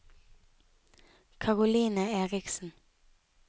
Caroline Eriksen